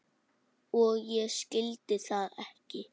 Og ég skildi það ekki.